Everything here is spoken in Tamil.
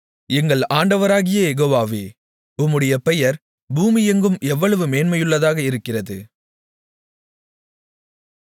எங்கள் ஆண்டவராகிய யெகோவாவே உம்முடைய பெயர் பூமியெங்கும் எவ்வளவு மேன்மையுள்ளதாக இருக்கிறது